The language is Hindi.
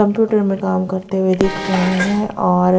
कंप्यूटर में काम करते हुए दिख रहे हैं और--